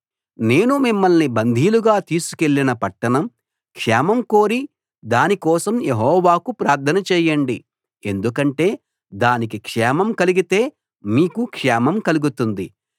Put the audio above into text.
నేను మిమ్మల్ని బందీలుగా తీసుకెళ్ళిన పట్టణం క్షేమం కోరి దాని కోసం యెహోవాకు ప్రార్థన చేయండి ఎందుకంటే దానికి క్షేమం కలిగితే మీకు క్షేమం కలుగుతుంది